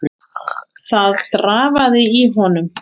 Ég virti plötuna fyrir mér.